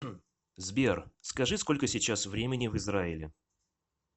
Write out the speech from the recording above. сбер скажи сколько сейчас времени в израиле